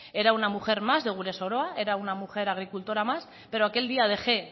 era una mujer más de gure soroa era una mujer agricultora más pero aquel día dejé